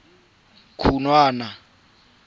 khunwana